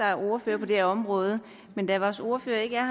er ordfører på det her område men da vores ordfører ikke er